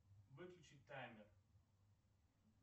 выключи таймер